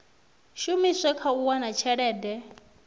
shumiswe kha u wana tshelede